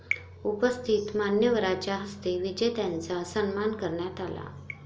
उपस्थित मान्यवरांच्या हस्ते विजेत्यांचा सन्मान करण्यात आला.